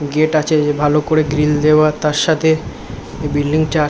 gate আছে যে ভালো করে গ্রিল দেওয়া তার সাথে বিল্ডিং -টা--